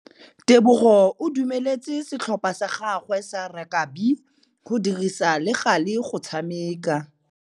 Tebogô o dumeletse setlhopha sa gagwe sa rakabi go dirisa le galê go tshameka.